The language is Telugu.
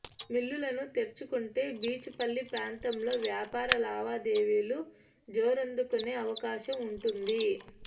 మిల్లులను తెరుచుకుంటే బీచుపల్లి ప్రాంతంలో వ్యాపార లావాదేవీలు జోరందుకునే అవకాశం ఉంటుంది